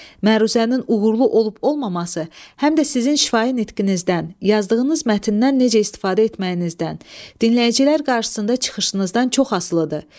Məruzənin uğurlu olub-olmaması həm də sizin şifahi nitqinizdən, yazdığınız mətndən necə istifadə etməyinizdən, dinləyicilər qarşısında çıxışınızdan çox asılıdır.